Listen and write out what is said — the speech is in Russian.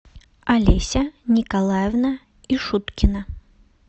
олеся николаевна ишуткина